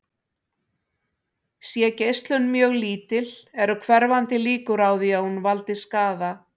Sé geislun mjög lítil eru hverfandi líkur á því að hún valdi skaða.